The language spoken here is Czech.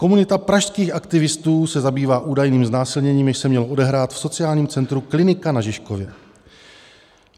Komunita pražských aktivistů se zabývá údajným znásilněním, jež se mělo odehrát v sociálním centru Klinika na Žižkově.